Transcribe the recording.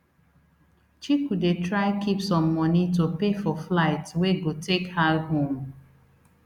chiku dey try keep some money to take pay for flight wey go take her home